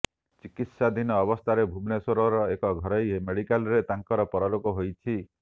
ଚିକିତ୍ସାଧୀନ ଅବସ୍ଥାରେ ଭୁବନେଶ୍ୱରର ଏକ ଘରୋଇ ମେଡ଼ିକାଲରରେ ତାଙ୍କର ପରଲୋକ ହୋଇଛି